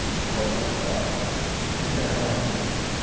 кухонного стола и ха-ха